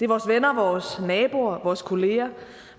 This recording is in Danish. vores venner vores naboer vores kollegaer